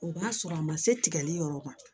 O b'a sɔrɔ a ma se tigɛli yɔrɔ ma